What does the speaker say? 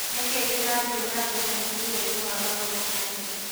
Nĩ kĩĩ kĩrathĩe nambere mũbĩraĩnĩ wa maguru ũmũthĩ